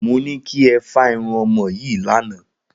Mo ní kí ẹ fá irun ọmọ yìí lánàá